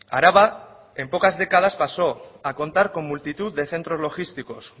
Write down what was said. araba en pocas décadas pasó a contar con multitud de centros logísticos